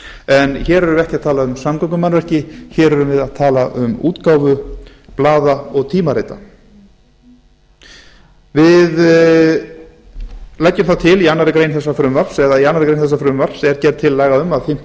en hér erum við ekki að tala um samgöngumannvirki hér erum við að tala um útgáfu blaða og tímarita við leggjum að til í annarri grein þessa frumvarps eða í annarri grein þessa frumvarps er gerð tillaga um að fimmta